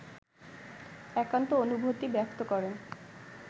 একান্ত অনুভূতি ব্যক্ত করেন